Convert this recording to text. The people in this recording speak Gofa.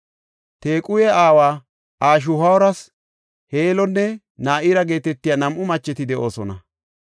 Tequhe aawa Ashihuuras Heelonne Na7ira geetetiya nam7u macheti de7oosona.